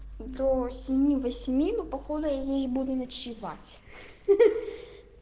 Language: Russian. до семи восьми ну походу я здесь буду ночевать